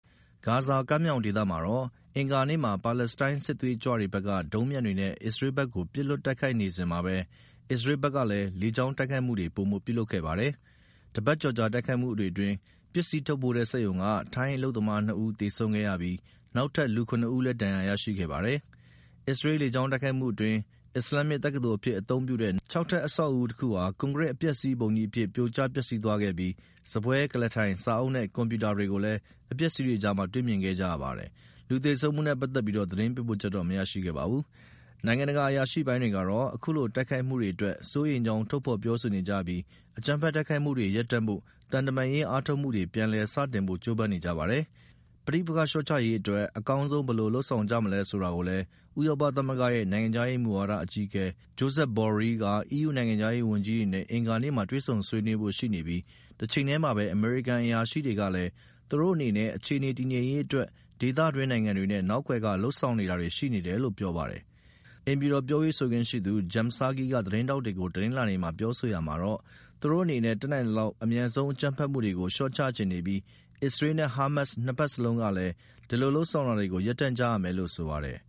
ဂါဇာကမ်းမြောင်ဒေသမှာတော့ အင်္ဂါနေ့မှာ ပါလက်စတိုင်း စစ်သွေးကြွတွေဘက်က ဒုံးပျံတွေနဲ ့အစ္စရေးဘက်ကို ပစ်လွှတ်တိုက်ခိုက်နေစဉ်မှာပဲ အစ္စရေးဘက်ကလည်း လေကြောင်းတိုက်ခိုက်မှုတွေ ပိုမိုပြုလုပ်ခဲ့ပါတယ်။ တပတ်ကျော်ကြာတိုက်ခိုက်မှုတွေအတွင်း ပစ္စည်းထုတ်ပိုးတဲ့ စက်ရုံက ထိုင်းအလုပ်သမားနှစ်ဦး သေဆုံးခဲ့ရပြီး နောက်ထပ် လူ (၇) ဦးလည်း ဒဏ်ရာရရှိခဲ့ပါတယ်။ အစ္စရေးလေကြောင်းတိုက်ခိုက်မှုအတွင်း အစ္စလာမ်တက္ကသိုလ်အဖြစ်အသုံးပြုတဲ့ ခြောက်ထပ် အဆောက်အဦးတခု ကွန်ကရစ်အပျက်အစီးပုံကြီးအဖြစ် ပြိုကျပျက်စီးသွားခဲ့ပြီး စားပွဲ၊ ကုလားထိုင်နဲ့စာအုပ်နဲ့ကွန်ပြူတာများကိုလည်း အပျက်အစီးများအကြား လည်းတွေ့မြင်ခဲ့ကြရပါတယ်။ လူသေဆုံးမှုနဲ့ပက်သက်ပြီးတော့ သတင်းပေးပို့ချက်တွေ မရရှိပါဘူး။ နိုင်ငံတကာ အရာရှိပိုင်းတွေကတော့ အခုလိုတိုက်ခိုက်မှုတွေအတွက် စိုးရိမ်ကြောင်း ထုတ်ဖေါ်ပြောဆိုနေကြပြီး အကြမ်းဖက်တိုက်ခိုက်မှုတွေ ရပ်တန့်ဖို့သံတမန်ရေး အားထုတ်မှုတွေ ပြန်လည်စတင်ဖို့ကြိုးပမ်းနေကြပါတယ်။ ပဋိပက္ခလျှော့ချရေး အကောင်းဆုံး ဘယ်လိုလုပ်ဆောင်ကြမလဲဆိုတာကိုလည်း ဥရောပသမဂ္ဂရဲ့ နိုင်ငံခြားရေးမူဝါဒအကြီးအကဲ Josep Borrell က EU နိုင်ငံခြားရေး ဝန်ကြီးတွေနဲ့ အင်္ဂါနေ့မှာ ဆွေးနွေးဖို့ရှိနေပြီး တချိန်ထဲမှာပဲ အမေရိကန် အရာရှိတွေကလည်း သူတို့အနေနဲ့အခြေအနေတည်ငြိမ်ရေးအတွက် ဒေသတွင်းနိုင်ငံတွေနဲ့ နောက်ကွယ်က လုပ်ဆောင်နေတာတွေရှိနေတယ်လို့ ပြောပါတယ်။ အိမ်ဖြူတော် ပြောရေးဆိုခွင့်ရှိသူ Jen Psaki က သတင်းထောက်တွေကို တနင်္လာနေ့မှာ ပြောဆိုရာမှာတော့ သူတို့အနေနဲ့တတ်နိုင်သလောက် အမြန်ဆုံး အကြမ်းဖက်မှုတွေကို လျော့ချချင်နေပြီး အစ္စရေးနဲ့ဟားမတ်စ် နှစ်ဘက်စလုံးကလည်း ဒီလိုလုပ်ဆောင်တာတွေကို ရပ်တန့်ကြရမယ်လို့ ဆိုပါတယ်